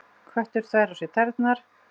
Köttur þvær á sér tærnar.